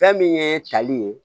Fɛn min ye tali ye